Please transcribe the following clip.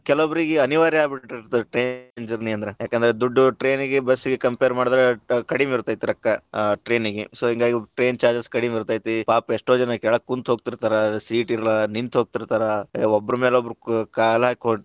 ಕೆಲವೊಬ್ಬರಿಗೆ ಅನಿವಾರ್ಯ ಆಗ್ಬಿಟ್ಟಿರತೇತಿ train journey ಅಂದ್ರ, ಯಾಕಂದ್ರ ದುಡ್ಡು train ಗೆ bus ಗೆ compare ಮಾಡಿದ್ರ ಕಡಿಮಿ ಇರತೈತಿ ರೊಕ್ಕಾ ಅಹ್ train ಗೆ, so ಹಿಂಗಾಗಿ train charges ಕಡಿಮಿ ಇರತೈತಿ ಪಾಪ ಎಷ್ಟೋ ಜನಾ ಕೆಳಗ ಕುಂತ ಹೋಗತಿರ್ತಾರ seat ಇಲ್ಲಾ ನಿಂತ ಹೋಗತೀರ್ತಾರಾ ಅ ಒಬ್ಬರ ಮೇಲೆ ಒಬ್ಬರ ಕಾಲ ಹಾಕಿ.